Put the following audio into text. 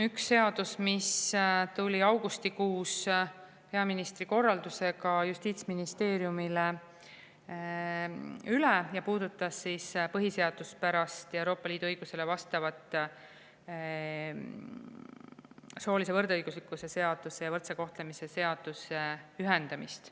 Üks tuli augustikuus peaministri korraldusega Justiitsministeeriumile üle ja puudutas põhiseaduspärast ja Euroopa Liidu õigusele vastavat soolise võrdõiguslikkuse seaduse ja võrdse kohtlemise seaduse ühendamist.